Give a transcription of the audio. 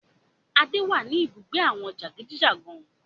Adé wá ní ibùgbé àwọn jagunjagun